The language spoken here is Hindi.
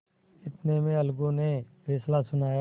इतने में अलगू ने फैसला सुनाया